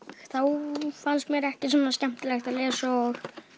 þá fannst mér ekki svona skemmtilegt að lesa og